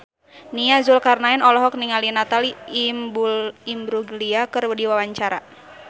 Nia Zulkarnaen olohok ningali Natalie Imbruglia keur diwawancara